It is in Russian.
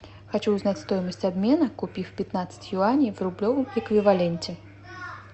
хочу узнать стоимость обмена купив пятнадцать юаней в рублевом эквиваленте